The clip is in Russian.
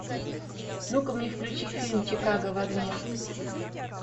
ну ка мне включи фильм чикаго в огне